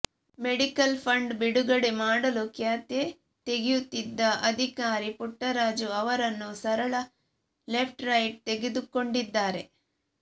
medical fund ಬಿಡುಗಡೆ ಮಾಡಲು ಕ್ಯಾತೆ ತೆಗೆಯುತ್ತಿದ್ದ ಅಧಿಕಾರಿ ಪುಟ್ಟರಾಜು ಅವರನ್ನು ಸರಳಾ ಲೆಫ್ಟ್ ರೈಟ್ ತೆಗೆದುಕೊಂಡಿದ್ದಾರೆ